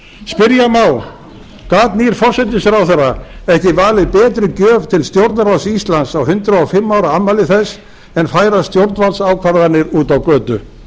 spyrja má gat nýr forsætisráðherra ekki valið betri gjöf til stjórnarráðs íslands á hundrað og fimm ára afmæli þess en færa stjórnvaldsákvarðanir út á götu